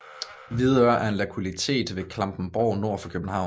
Hvidøre er en lokalitet ved Klampenborg nord for København